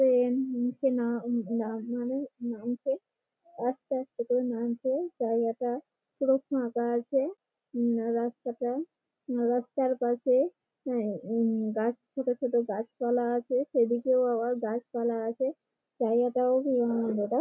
সে নিচে না না মানে নামছে আস্তে আস্তে করে নামছে জায়গাটা পুরো ফাঁকা আছে উঁ রাস্তাটা রাস্তার পাশে উঁ ই এ গাছ ছোটো ছোটো গাছপালা আছে সেদিকেও আবার গাছপালা আছে জায়গাটাও ।